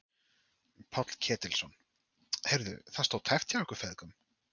Páll Ketilsson: Heyrðu, það stóð tæpt hjá ykkur feðgum?